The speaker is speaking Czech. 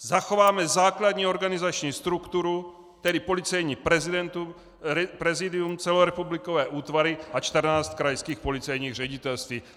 Zachováme základní organizační strukturu, tedy Policejní prezidium, celorepublikové útvary a 14 krajských policejních ředitelství.